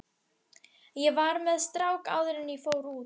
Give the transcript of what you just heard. Ég var með strák áður en ég fór út.